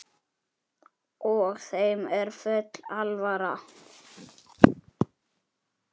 Lítið er vitað um málið.